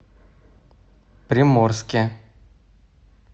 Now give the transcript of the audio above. приморске